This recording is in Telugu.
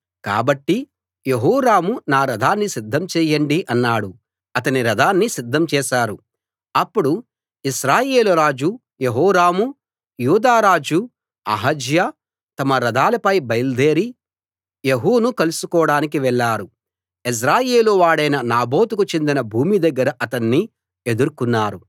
కాబట్టి యెహోరాము నా రథాన్ని సిద్ధం చేయండి అన్నాడు అతని రథాన్ని సిద్ధం చేశారు అప్పుడు ఇశ్రాయేలు రాజు యెహోరామూ యూదా రాజు అహజ్యా తమ రథాలపై బయల్దేరి యెహూను కలుసుకోడానికి వెళ్ళారు యెజ్రెయేలు వాడైన నాబోతుకు చెందిన భూమి దగ్గర అతణ్ణి ఎదుర్కున్నారు